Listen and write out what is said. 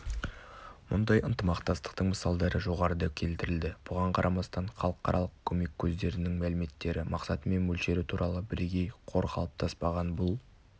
мұндай ынтымақтастықтың мысалдары жоғарыда келтірілді бұған қарамастан халықаралық көмек көздерінің мәліметтері мақсаты мен мөлшері туралы бірегей қор қалыптаспаған бұл